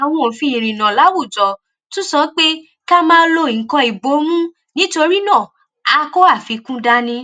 àwọn òfin ìrìnnà láwùjọ tún sọ pé ká máa lo nǹkan ìbomú nítorí náà a kó àfikún dání